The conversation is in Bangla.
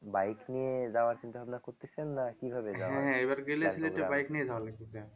bike নিয়ে যাওয়ার চিন্তা-ভাবনা করতেছেন না কিভাবে